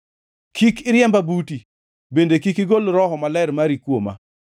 Kik iriemba buti bende kik igol Roho Maler mari kuoma.